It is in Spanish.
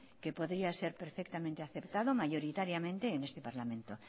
que podríamos ser perfectamente aceptado mayoritariamente en este parlamento